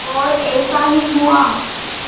और ऐसा ही हुआ